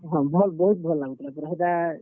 ହଁ, ଭଲ୍ ବହୁତ୍ ଭଲ୍ ଲାଗୁଥିଲା ପୁରା ହେଟା।